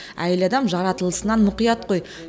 әйел адам жаратылысынан мұқият қой